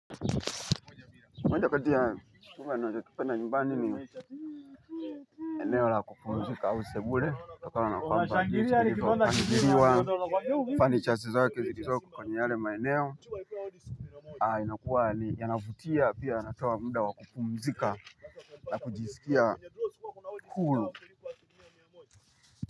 Mwendo kati ya tunavopenda nyumbani ni eneo la kupumzika au sebule kutokana na kwamba ni kilipo ghiriwa furnitures zake zilizoko kwenye yale maeneo. Aah imekuwa ni yanavutia pia anapewa muda wakupumzika na kujisikia huru kwa hivyo.